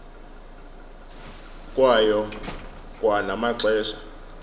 kwayo kwa namaxesha